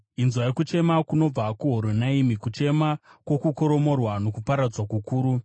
Inzwai kuchema kunobva kuHoronaimi, kuchema kwokukoromorwa nokuparadzwa kukuru.